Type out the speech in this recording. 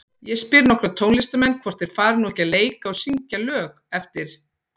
Ég spyr nokkra tónlistarmenn, hvort þeir fari nú ekki að leika og syngja lög eftir